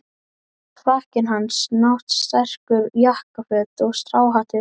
Frakkinn hans, náttserkur, jakkaföt og stráhattur.